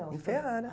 Em Ferrara.